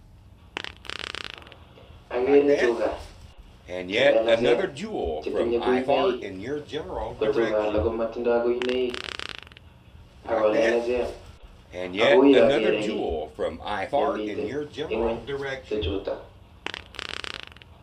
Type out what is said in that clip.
Akere tugaa che lelachen che tinye kuinoik ko tugaa alak komotinye kuinoik Ako lelachen ako u yon kere kii na miten enn ingony tuchuta.